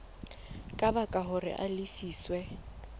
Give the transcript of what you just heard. ka baka hore a lefiswe